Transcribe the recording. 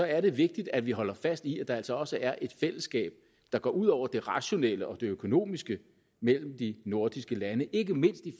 er det vigtigt at vi holder fast i at der altså også er et fællesskab der går ud over det rationelle og det økonomiske mellem de nordiske lande ikke mindst